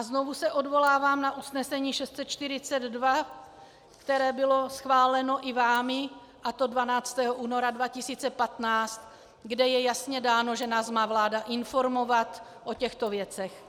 A znovu se odvolávám na usnesení 642, které bylo schváleno i vámi, a to 12. února 2015, kde je jasně dáno, že nás má vláda informovat o těchto věcech.